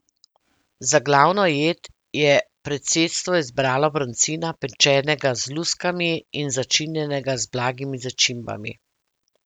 Za glavno jed je predsedstvo izbralo brancina, pečenega z luskami, in začinjenega z blagimi začimbami.